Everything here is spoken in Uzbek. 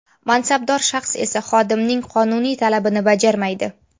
Mansabdor shaxs esa xodimning qonuniy talabini bajarmaydi.